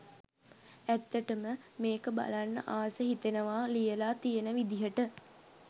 ඇත්තටම මේක බලන්න ආස හිතෙනවා ලියලා තියන විදියට.